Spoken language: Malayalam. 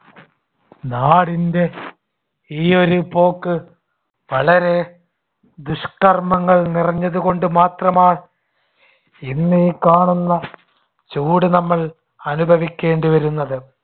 നാടിന്‍ടെ ഈ ഒരു പോക്ക് വളരെ ദുഷ്‌കർമ്മങ്ങൾ നിറഞ്ഞതുകൊണ്ടു മാത്രമാ ഇന്ന് ഈ കാണുന്ന ചൂട് നമ്മൾ അനുഭവിക്കേണ്ടിവരുന്നത്.